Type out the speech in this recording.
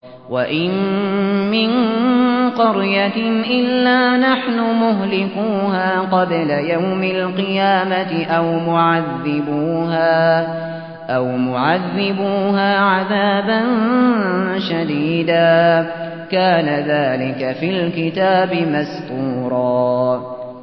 وَإِن مِّن قَرْيَةٍ إِلَّا نَحْنُ مُهْلِكُوهَا قَبْلَ يَوْمِ الْقِيَامَةِ أَوْ مُعَذِّبُوهَا عَذَابًا شَدِيدًا ۚ كَانَ ذَٰلِكَ فِي الْكِتَابِ مَسْطُورًا